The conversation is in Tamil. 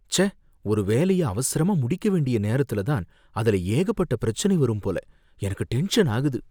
ச்சே! ஒரு வேலைய அவசரமா முடிக்க வேண்டிய நேரத்துல தான் அதுல ஏகப்பட்ட பிரச்சனை வரும் போல, எனக்கு டென்ஷன் ஆகுது